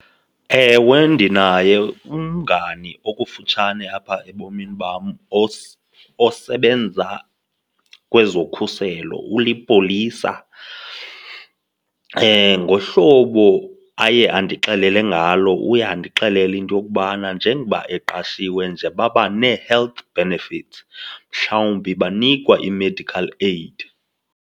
Ewe, ndinaye umngani okufutshane apha ebomini bam osebenza kwezokhuselo, ulipolisa. Ngohlobo aye andixelele ngalo uye andixelele into yokubana njengoba eqashiwe nje baba nee-health benefits, mhlawumbi banikwa i-medical aid.